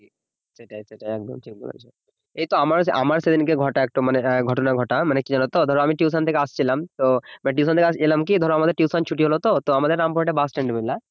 সেটাই সেটাই একদম ঠিক বলেছ এই তো আমার আমার সেই দিনকে ঘটা মানে ঘটনা ঘটা, মানে কি জানতো ধরো টিউশন থেকে আসছিলাম তো টিউশন থেকে এলাম কি ধরো আমাদের টিউশন ছুটি হলো তো আমাদের রামপুরহাটে বাসস্ট্যান্ড আছে বুঝলা